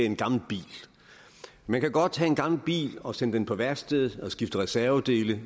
en gammel bil man kan godt have en gammel bil og sende den på værksted og skifte reservedele